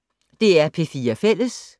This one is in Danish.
DR P4 Fælles